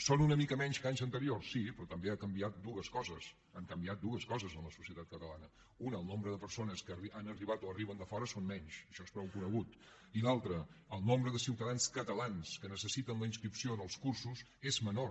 són una mica menys que anys anteriors sí però també han canviat dues coses han canviat dues coses en la societat catalana una el nombre de persones que han arribat o arriben de fora són menys això és prou conegut i l’altra el nombre de ciutadans catalans que necessiten la inscripció en els cursos és menor